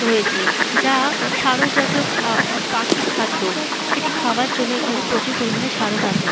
রয়েছে যা সারস জাতীয় খা পাখির খাদ্য। সেটি খাবার জন্য এখানে প্রচুর পরিমানে সারস আসে।